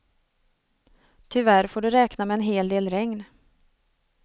Tyvärr får du räkna med en hel del regn.